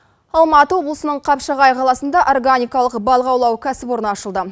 алматы облысының қапшағай қаласында органикалық балық аулау кәсіпорны ашылды